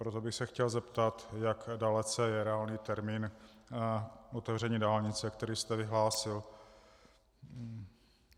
Proto bych se chtěl zeptat, jak dalece je reálný termín otevření dálnice, který jste vyhlásil.